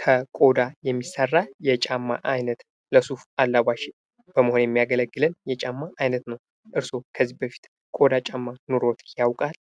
ከቆዳ የሚሰራ የጫማ አይነት ለሱፍ አላባሽ በመሆን የሚያገለግለን የጫማ አይነት ነው። እርሶ ከዚህ በፊት ቆዳ ጫማ ኖሮት ያውቃል?